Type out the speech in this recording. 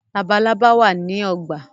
Labalábá wá ní ogbà.